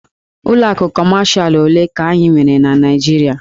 Ụlọ akụ Kọmashalụ ole ka anyị nwere na Naịjirịa?